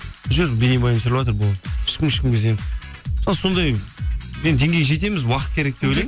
жүр бейнебаян түсіріватыр болды ешкім ешкімге зиян сондай енді деңгейге жетеміз уақыт керек деп ойлаймын